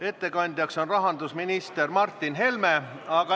Ettekandja on rahandusminister Martin Helme.